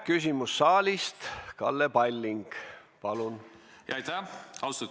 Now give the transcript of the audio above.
Küsimus saalist, Kalle Palling, palun!